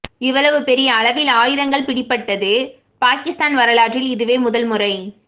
இவ்வளவு பெரிய அளவில் ஆயுதங்கள் பிடிபட்டது பாகிஸ்தான் வரலாற்றில் இதுவே முதல் முறை